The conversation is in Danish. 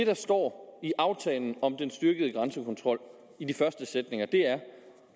der står i aftalen om den styrkede grænsekontrol i de første sætninger er